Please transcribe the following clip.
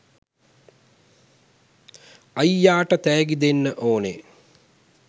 අයියාට තෑගි දෙන්න ඕනෙ.